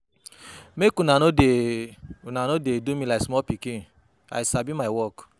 Make una no dey una no dey do me like small pikin, I sabi my work.